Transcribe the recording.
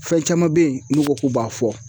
Fɛn caman be yen n'u ko k'u b'a fɔ